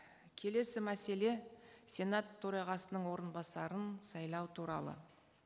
келесі мәселе сенат төрағасының орынбасарын сайлау туралы